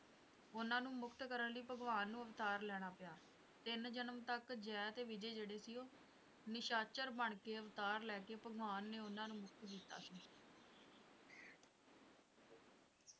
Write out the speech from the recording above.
ਉਨ੍ਹਾਂ ਨੂੰ ਮੁਕਤ ਕਰਨ ਲਈ ਭਗਵਾਨ ਨੂੰ ਅਵਤਾਰ ਲੈਣਾ ਪਿਆ ਤਿੰਨ ਜਨਮ ਤੱਕ ਜੈ ਤੇ ਵਿਜੈ ਜਿਹੜੇ ਸੀ ਉਹ ਨਿਸ਼ਾਚਰ ਬਣਕੇ ਅਵਤਾਰ ਲੈ ਕੇ ਭਗਵਾਨ ਨੇ ਉਨ੍ਹਾਂ ਨੂੰ ਮੁਕਤ ਕੀਤਾ ਸੀ